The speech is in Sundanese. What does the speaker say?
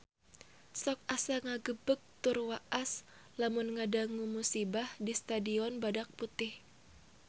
Sok asa ngagebeg tur waas lamun ngadangu musibah di Stadion Badak Putih